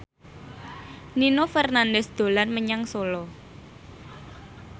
Nino Fernandez dolan menyang Solo